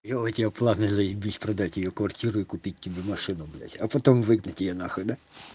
ёу у тебя планы заебись продать её квартиру и купить тебе машину блядь а потом выгнать её нахуй да